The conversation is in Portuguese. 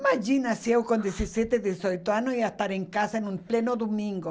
Imagina se eu, com dezessete, dezoito anos, ia estar em casa num pleno domingo.